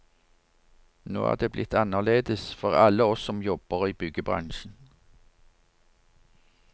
Nå er det blitt annerledes for alle oss som jobber i byggebransjen.